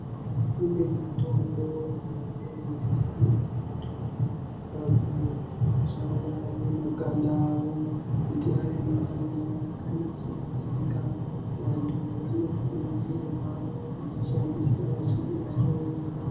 Kune mitombo inosenzeswa nevantu pakusha kwemakanda avo kuti ava makanda akanasiridzikq. Vantu vanokurudzirwa kudzishandisa vachinga vahlowiwa.